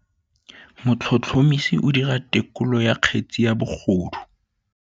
Motlhotlhomisi o dira têkolô ya kgetse ya bogodu.